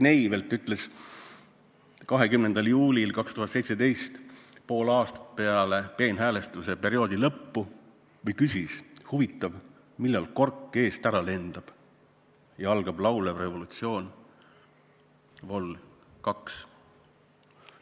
Indrek Neivelt küsis 20. juulil 2017 – pool aastat peale peenhäälestusperioodi lõppu –, et huvitav, millal kork eest ära lendab ja algab laulev revolutsioon vol 2.